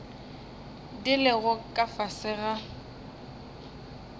di lego ka fase ga